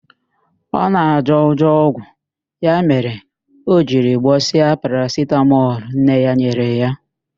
Ọ na-ajọ ụjọ ọgwụ, ya mere o jiri gbọsịa parasitamọl nne ya nyere ya.